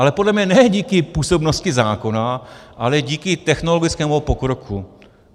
Ale podle mě ne díky působnosti zákona, ale díky technologickému pokroku.